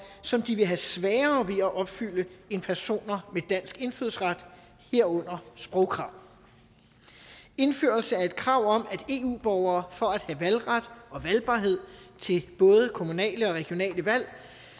som de vil have sværere ved at opfylde end personer med dansk indfødsret herunder sprogkrav indførelse af et krav om at eu borgere for at have valgret og valgbarhed til både kommunale og regionale valg